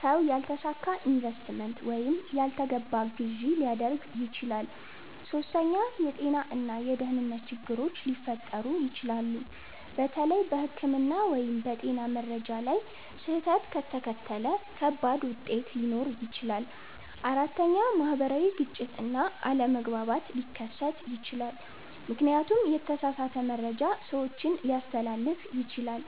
ሰው ያልተሳካ ኢንቨስትመንት ወይም ያልተገባ ግዢ ሊያደርግ ይችላል። ሶስተኛ፣ የጤና እና የደህንነት ችግሮች ሊፈጠሩ ይችላሉ። በተለይ በሕክምና ወይም በጤና መረጃ ላይ ስህተት ከተከተለ ከባድ ውጤት ሊኖር ይችላል። አራተኛ፣ ማህበራዊ ግጭት እና አለመግባባት ሊከሰት ይችላል፣ ምክንያቱም የተሳሳተ መረጃ ሰዎችን ሊያስተላልፍ ይችላል።